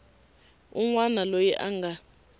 un wana loyi a nga